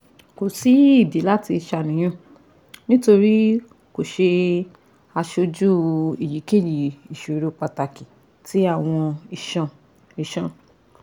Ko si idi lati ṣàníyàn, nitori ko ṣe aṣoju eyikeyi iṣoro pataki ti awọn iṣan iṣan